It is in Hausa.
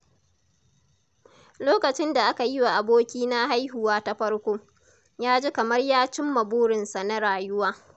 Lokacin da aka yiwa abokina haihuwa ta farko, ya ji kamar ya cimma burinsa na rayuwa.